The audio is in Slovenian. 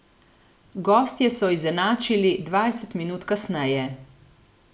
Gostje so izenačili dvajset minut kasneje.